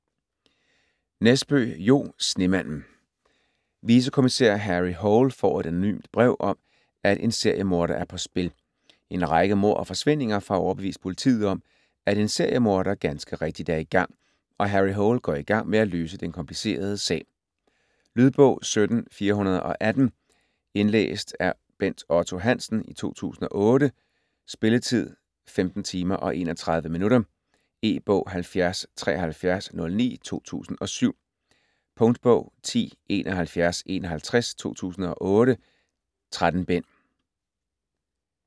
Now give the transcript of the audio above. Nesbø, Jo: Snemanden Vicekommisær Harry Hole får et anonymt brev om, at en seriemorder er på spil. En række mord og forsvindinger får overbevist politiet om, at en seriemorder ganske rigtigt er i gang, og Harry Hole går i gang med at løse den komplicerede sag. Lydbog 17418 Indlæst af Bent Otto Hansen, 2008. Spilletid: 15 timer, 31 minutter. E-bog 707309 2007. Punktbog 107151 2008. 13 bind.